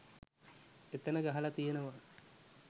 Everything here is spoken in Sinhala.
එතන ගහල තියනවා